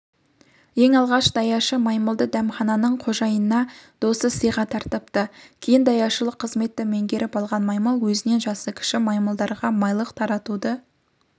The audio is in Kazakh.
ең алғаш даяшы маймылды дәмхананың қожайынына досы сыйға тартыпты кейін даяшылық қызметті меңгеріп алған маймыл өзінен жасы кіші маймылдарға майлық таратуды